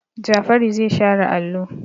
Jafaru zai share allo.